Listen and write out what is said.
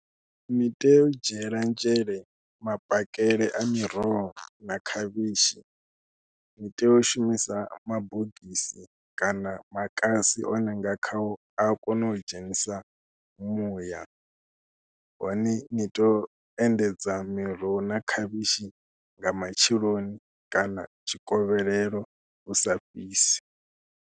Ni tea u dzhiela nzhele mapakele a miroho na khavhishi, ni tea u shumisa mabogisi kana makasi one nga khao a ya kona u dzhenisa muya, hone ni tou endedza miroho na khavhishi nga matsheloni kana tshikovhelelo hu sa fhisi.